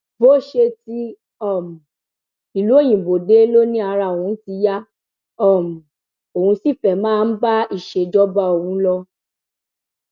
bó ṣe ti um ìlú òyìnbó dé ló ní ara òun ti yá um òun sì fẹẹ máa ńbá ìṣèjọba òun lọ